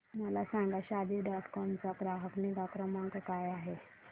मला सांगा Shaadi dot com चा ग्राहक निगा क्रमांक काय आहे